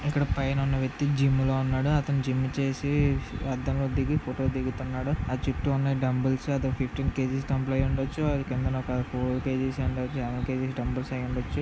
ఇక్కడ పైన ఉన్న వ్యక్తి జైల్లో ఉన్నాడు అతని జిమ్ చేసే అర్థంలో టీవీ ఫొటోలు దిగుతున్నాడు--